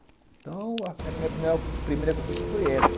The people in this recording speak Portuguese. Então, minha primeira conquista foi essa.